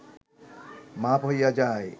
মাপ হইয়া যায়